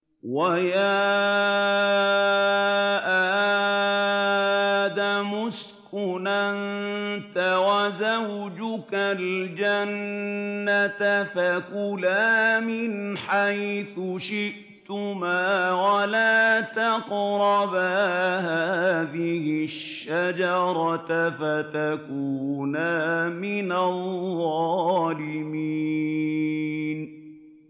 وَيَا آدَمُ اسْكُنْ أَنتَ وَزَوْجُكَ الْجَنَّةَ فَكُلَا مِنْ حَيْثُ شِئْتُمَا وَلَا تَقْرَبَا هَٰذِهِ الشَّجَرَةَ فَتَكُونَا مِنَ الظَّالِمِينَ